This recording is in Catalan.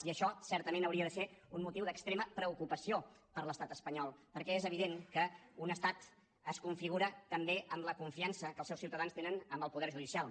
i això certament hauria de ser un motiu d’extrema preocupació per a l’estat espanyol perquè és evident que un estat es configura també amb la confiança que els seus ciutadans tenen en el poder judicial